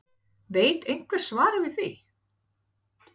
Veit einhver svarið við því???????